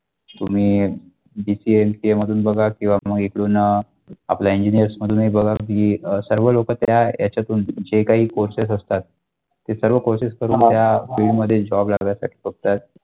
तुम्ही VPNK मधून बघा किंवा मग इकडून आपल्या engineers मधूनही बघा की अ सर्व लोक त्या ह्यांच्यातून जे काही courses असतात ते सर्व courses करून field job लागत असतो तर.